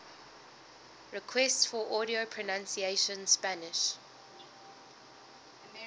requests for audio pronunciation spanish